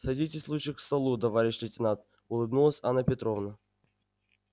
садитесь лучше к столу товарищ лейтенант улыбнулась анна петровна